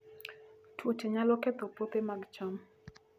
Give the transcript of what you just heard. Tuoche nyalo ketho puothe mag cham